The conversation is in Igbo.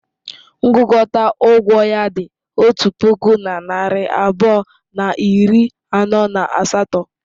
Ngụkọta ụgwọ ya dị otu puku na narị abụọ na iri anọ na asatọ.